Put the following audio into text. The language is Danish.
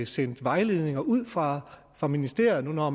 sendt vejledninger ud fra fra ministeriet nu hvor